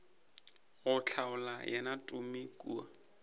go hlola yena tumi kua